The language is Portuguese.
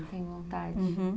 Tem vontade? uhum.